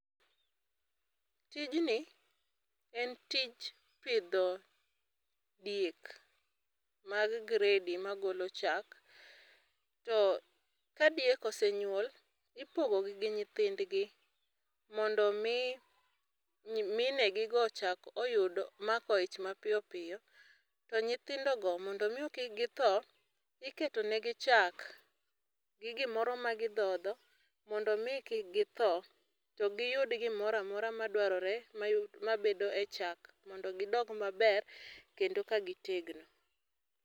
Tijni, en tich pidho diek, mag gredi magolo chak to ka diek osenyuol ipogo gi nyithindgi mondo omi minegi go ochak oyud mako ich mapiyo piyo, to nyithindo go mondo omi kik githo, iketo negi chak gi gimoro ma gidhodho mondo mi kik githo, to giyud gimoro amora madwarore mabedo e chak mondo gidong maber kendo ka gitegno